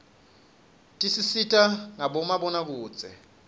tisisita ngabomabonakudze